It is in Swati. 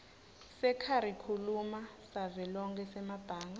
sekharikhulamu savelonkhe semabanga